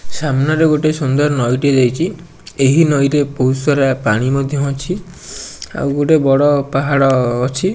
ସାମ୍ନାରେ ଗୋଟେ ସୁନ୍ଦର ନଈ ଟିଏ ଯାଇଚି ଏହି ନଈ ରେ ବୋହୁତ୍ ସାରା ପାଣି ମଧ୍ୟ ଅଛି ଆଉ ଗୋଟେ ବଢ଼ ପାହାଡ଼ ଅଛି।